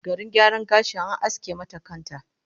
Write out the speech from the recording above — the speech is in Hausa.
Garin gyaran gashi, an aske mata kan ta!